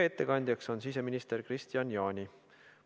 Ettekandja on siseminister Kristian Jaani.